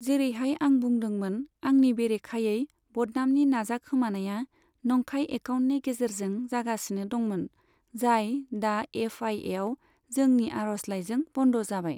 जेरैहाय आं बुंदोंमोन, आंनि बेरेखायै बदनामनि नाजाखोमानाया नंखाय एकाउन्टनि गेजेरजों जागासिनो दंमोन, जाय दा एफ आई एआव जोंनि आर'जलाइजों बन्द जाबाय।